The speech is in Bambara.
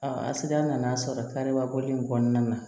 a sigida nana sɔrɔ karibabɔ in kɔnɔna na